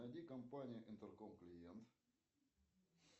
найди компанию интерком клиент